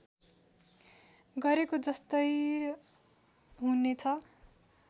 गरेको जस्तै हुने छ